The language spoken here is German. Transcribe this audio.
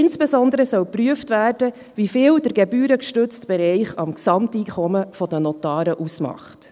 Insbesondere soll geprüft werden, wie viel der gebührengestützte Bereich am Gesamteinkommen der Notare ausmacht.